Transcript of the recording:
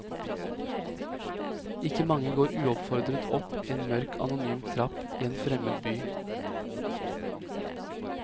Ikke mange går uoppfordret opp en mørk anonym trapp i en fremmed by.